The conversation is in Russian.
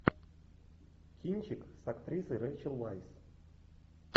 кинчик с актрисой рейчел вайс